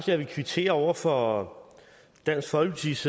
jeg vil kvittere over for dansk folkepartis